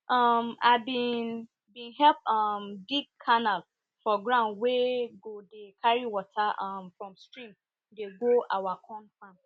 um i bin bin help um dig canal for ground wey go dey carry water um from stream dey go our